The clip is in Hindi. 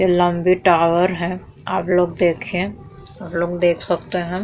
ये लम्बी टावर है आप लोग देखिये आप लोग देख सकते हैं।